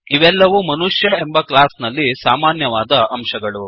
ಇವೆಲ್ಲವೂ ಮನುಷ್ಯ ಎಂಬ ಕ್ಲಾಸ್ ನಲ್ಲಿ ಸಾಮಾನ್ಯವಾದ ಅಂಶಗಳು